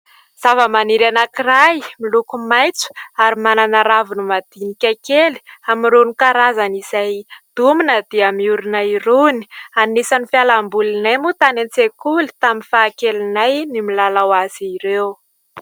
Zavamaniry anankiray miloko maitso ary manana raviny madinika kely amin'irony karazany izay domina dia miorina irony. Anisan'ny fialambolinay moa tany an-tsekoly tamin'ny fahakelinay ny milalao azy ireo.